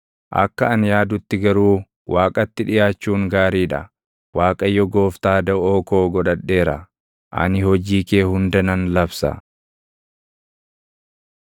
Akka ani yaadutti garuu Waaqatti dhiʼaachuun gaarii dha; Waaqayyo Gooftaa daʼoo koo godhadheera; ani hojii kee hunda nan labsa.